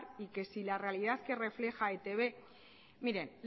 y que si la realidad que refleja e i te be mire